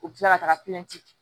U bɛ tila ka taga